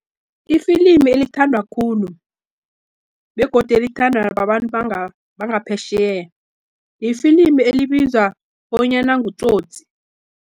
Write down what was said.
Ifilimi elithandwa khulu, begodi elithanda babantu bangaphetjheya, lifilimi elibizwa bonyana ngTsotsi.